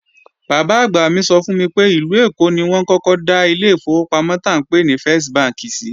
Bàbá-àgbà mi sọ fún mi pé ìlú Èkó ni wọ́n kọ́kọ́ dá ilé ìfowópamọ́ tá ńpè ní fẹ́s bánkì sìí